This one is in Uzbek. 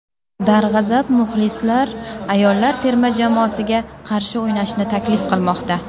Darg‘azab muxlislar ayollar terma jamoasiga qarshi o‘ynashni taklif qilmoqda .